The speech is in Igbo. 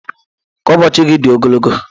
Ka ụbọochị gị dị ogologo.